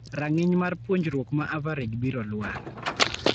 Rang'iny mar puonjruok ma average biro lwar.